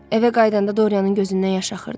Evə qayıdanda Doriyanın gözündən yaş axırdı.